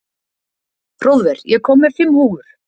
Hróðvar, ég kom með fimm húfur!